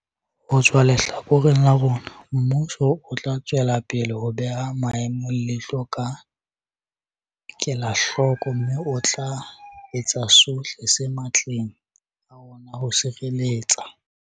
Ho tswa lehlakoreng la rona, mmuso o tla tswelapele ho beha maemo leihlo ka kelahloko mme o tla etsa sohle se matleng a ona ho sireletsa